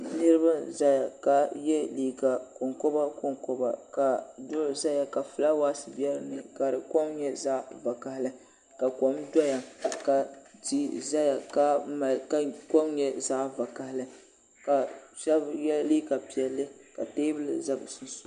Niriba n zaya ka ye liiga konkoba konkoba ka duɣu zaya ka filaawaasi be dinni ka di kom nyɛ zaɣa vakahali ka kom doya ka tia zaya ka di kom nyɛ zaɣa vakahali ka sheba ye liiga piɛlli ka teebuli za bɛ sunsuuni.